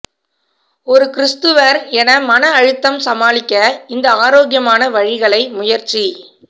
ஒரு கிரிஸ்துவர் என மன அழுத்தம் சமாளிக்க இந்த ஆரோக்கியமான வழிகளை முயற்சி